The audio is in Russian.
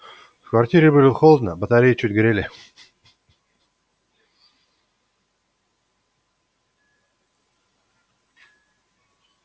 в квартире было холодно батареи чуть грели